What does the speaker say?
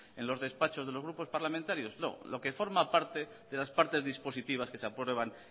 en los despachos de los grupos parlamentarios no lo que forma parte de las partes dispositivas que se aprueban